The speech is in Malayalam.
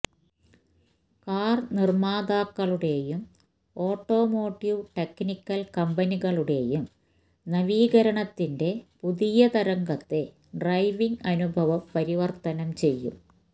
കാർനിർമാതാക്കളുടെയും ഓട്ടോമോട്ടീവ് ടെക്നിക്കൽ കമ്പനികളുടെയും നവീകരണത്തിന്റെ പുതിയ തരംഗത്തെ ഡ്രൈവിംഗ് അനുഭവം പരിവർത്തനം ചെയ്യും